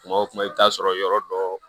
Kuma o kuma i bi t'a sɔrɔ yɔrɔ dɔ